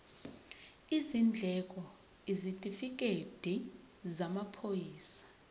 izindleko isitifikedi samaphoyisa